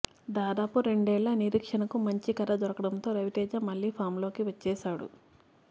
దాదాపు రెండేళ్ళ నిరీక్షణకు మంచి కథ దొరకడంతో రవితేజ మళ్ళీ ఫాంలోకి వచ్చేశాడు